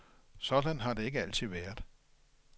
Sådan har det ikke altid været.